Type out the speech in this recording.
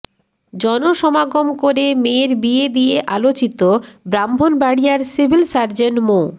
জনসমাগম করে মেয়ের বিয়ে দিয়ে আলোচিত ব্রাহ্মণবাড়িয়ার সিভিল সার্জন মো